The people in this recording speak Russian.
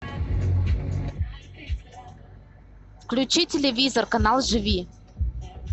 включи телевизор канал живи